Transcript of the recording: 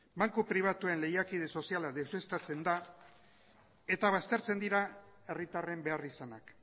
banku pribatuen lehiakide soziala deuseztatzen da eta baztertzen dira herritarren beharrizanak